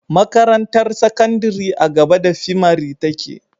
Makarantar sakandari a gaba da fimari take